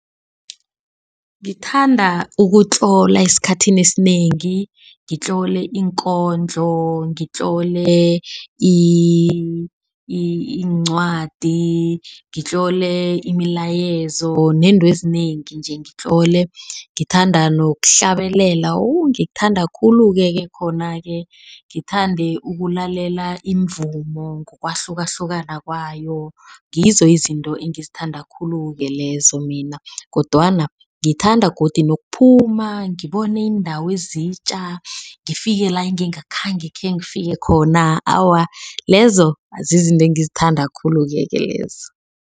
Ngithanda ukutlola esikhathini esinengi. Ngitlole iinkondlo, ngitlole iincwadi, ngitlole imilayezo nento ezinengi nje. Ngitlole, ngithanda nokuhlabelela ngikuthanda khulu-ke khona-ke. Ngithande ukulalela imivumo ngokwahlukahlukana kwayo, ngizo izinto engizithanda khulu-ke lezo mina kodwana ngithanda godi nokuphuma. Ngibone indawo ezitja ngifike la engingakhange khengifike khona. Awa lezo zizinto engizithanda khulu-keke lezo.